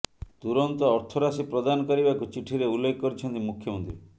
ତୁରନ୍ତ ଅର୍ଥରାଶି ପ୍ରଦାନ କରିବାକୁ ଚିଠିରେ ଉଲ୍ଲେଖ କରିଛନ୍ତି ମୁଖ୍ୟମନ୍ତ୍ରୀ